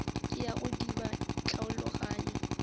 ke ya go diba tlhaologanyo